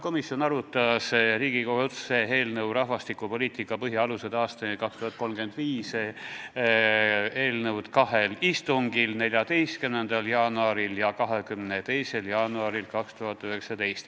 Me arutasime Riigikogu otsuse "Rahvastikupoliitika põhialused aastani 2035" eelnõu kahel istungil: 14. jaanuaril ja 22. jaanuaril.